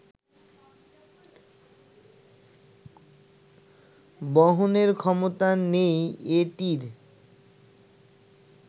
বহনের ক্ষমতা নেই এটির